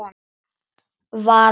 Far leiðar þinnar.